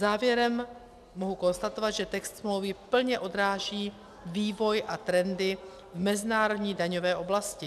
Závěrem mohu konstatovat, že text smlouvy plně odráží vývoj a trendy v mezinárodní daňové oblasti.